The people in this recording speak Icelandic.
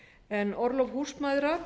en orlof húsmæðra